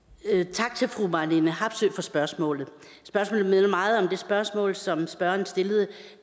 tak til fru marlene harpsøe for spørgsmålet spørgsmålet minder meget om det spørgsmål som spørgeren stillede